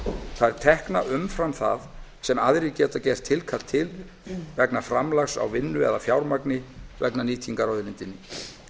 það er tekna umfram það sem aðrir geta gert tilkall til vegna framlags á vinnu eða fjármagni vegna nýtingar á auðlindinni